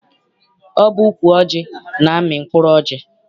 Ọ bụ ukwu ọjị na-amị mkpụrụ ọjị.